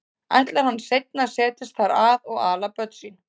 Ætlar hann seinna að setjast þar að og ala börn sín?